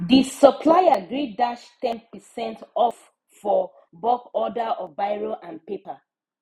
the supplier gree dash ten percent off for bulk order of biro and paper